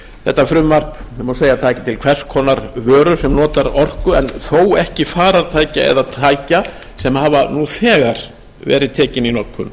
þetta frumvarp má segja að taki til hvers konar vöru sem notar orku þó ekki farartækja eða tækja sem nú þegar hafa verið tekin í notkun